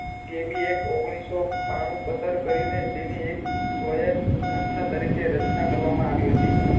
જે ભી એ ઓઘીનીસ સૌ બાણુ પસાર કરી ને તેની એક વ્યાક સંસ્થા તરીકે રચના કરવા મા આવી હતી